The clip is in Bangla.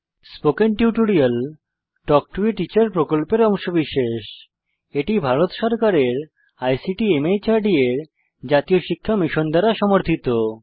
spoken tutorial talk to a teacher প্রকল্পের অংশবিশেষ এটি ভারত সরকারের আইসিটি মাহর্দ এর জাতীয় শিক্ষা মিশন দ্বারা সমর্থিত